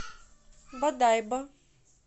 бодайбо